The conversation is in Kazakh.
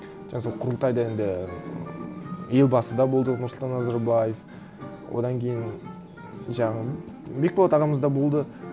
жаңа сол құрылтайда енді ммм елбасы да болды нұрсұлтан назарбаев одан кейін жаңағы бекболат ағамыз да болды